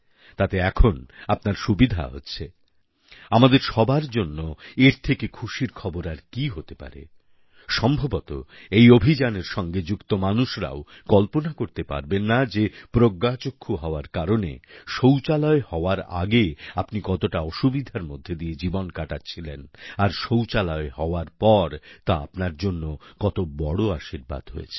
তাতে এখন আপনার সুবিধা হচ্ছে আমাদের সবার জন্য এর থেকে খুশির খবর আর কি হতে পারে সম্ভবত এই অভিযানের সঙ্গে যুক্ত মানুষরাও কল্পনা করতে পারবেন না যে প্রজ্ঞাচক্ষু হওয়ার কারণে শৌচালয় হওয়ার আগে আপনি কতটা অসুবিধার মধ্যে দিয়ে জীবন কাটাচ্ছিলেন আর শৌচালয় হওয়ার পর তা আপনার জন্য কত বড় আশীর্বাদ হয়েছে